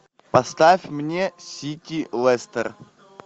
поставь мне сити лестер